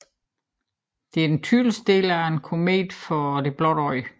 Dette er den tydeligste del af en komet for det blotte øje